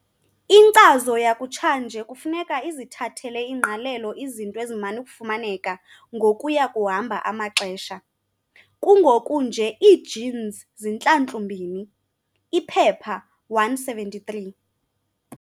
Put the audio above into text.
Inkcazo yakutshanje kufuneka izithathele ingqalelo izinto eziman'ukufumaneka ngokuya kuhamba amaxesha. kungoku nje ii-genes zintlantlu-mbini.p173